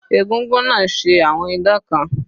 Egúngún náà ṣe àwọn idán kan.